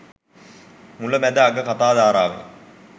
මුල මැද අග කතා ධාරාවෙන්